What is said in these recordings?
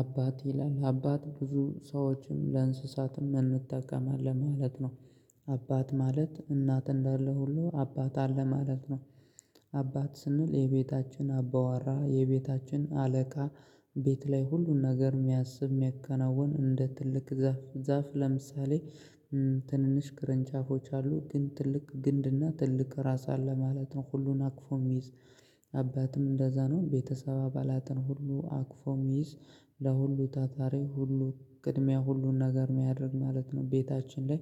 አባት ይላል አባት ብዙ ሰዎችን ለእንስሳትም እንጠቀማለን ማለት ነው። አባት ማለት እናት እንዳለ ሁሉ አባት አለ ማለት ነው። አባት ስንል የቤታችን አባዋራ የቤታችን አለቃ። ቤት ላይ ሁሉን ነገር የሚያስብ የሚያከናውን እንደ ትልቅ ዛፍ ዛፍ ለምሳሌ ትንንሽ ቅርጫፎች አሉ ግን ትልቅ ግንድና ትልቅ ራስ አለ ማለት ነው ሁሉን አቅፎ የሚይዝ። አባትም እንደዛ ነው ቤተሰብ አባላትን ሁሉ አቅፎ እሚይዝ። ለሁሉ ታታራ ሁሉ ቅድሚያ ሁሉን ነገር የሚያደርግ ማለት ነው ቤታችን ላይ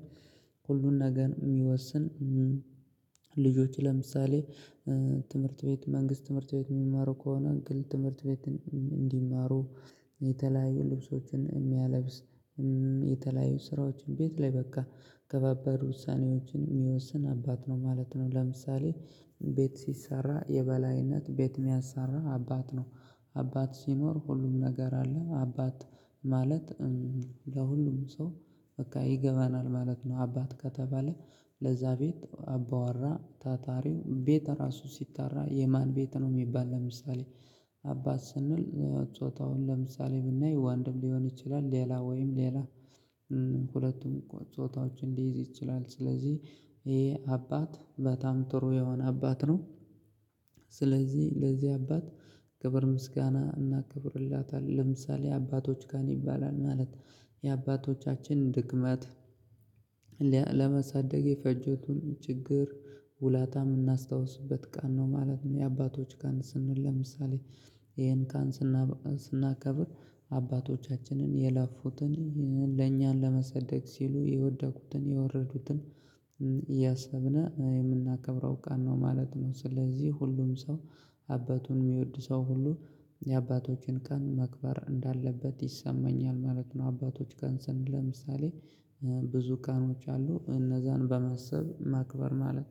ሁሉን ነገር የሚወስን። ልጆች ለምሳሌ ትምህርት ቤት መንግስት ትምህርት ቤት የሚማሩ ከሆነ ግል ትምህርት ቤት እንዲማሩ የተለያዩ ልብሶችን የሚያለብስ። የተለያዩ ስራዎችን ቤት ላይ በቃ ከባባድ ውሳኔዎችን የሚወስን አባት ነው ማለት ነው። ለምሳሌ ቤት ሲሰራ የበላይነት ቤት የሚያሰራ አባት ነው። አባት ሲኖር ሁሉም ነገር አለ አባት ማለት ለሁሉም ሰው በቃ ይገባናል ማለት ነው። አባት ከተባለ ለዛ ቤት አባዋራ ታታሪው ቤት ራሱ ሲጠራ የማን ቤት ነው የሚባል ለምሳሌ። አባት ስንል ጾታውን ለምሳሌ ብናይ ወንድም ሊሆን ይችላል ሌላ ወይም ሌላ ሁለቱም ጾታዎች ሊይዝ ይችላል። ስለዚህ ይሄ አባት በጣም ጥሩ የሆነ አባት ነው። ስለዚህ ለዚህ አባት ክብር ምስጋና እናክብርለታለን ለምሳሌ የአባቶች ቀን ይባላል ማለት የአባቶቻችን ድክመት ለመሳደግ የፈጀቱን ችግር ውላታ የምናስታውስበት ቀን ነው ማለት ነው። የአባቶች ቀን ስንል ለምሳሌ ይሄን ቀን ስናከብር አባቶቻችንን የለፉትን ለኛን ለማሳደግ ሲሉ የወደቁትን የወረዱትን እያሰብን የምናከብረው ቀን ነው ማለት ነው። ስለዚህ ሁሉም ሰው አባቱን የሚወድ ሰው ሁሉ የአባቶችን ቀን ማክበር እንዳለበት ይሰማኛል ማለት ነው። አባቶች ቀን ስን ለምሳሌ ብዙ ቀኖች አሉ እነዛን በማሰብ ማክበር ማለት ነው